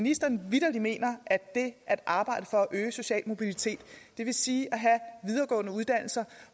ministeren vitterlig mener at det at arbejde for at øge den sociale mobilitet det vil sige at have videregående uddannelser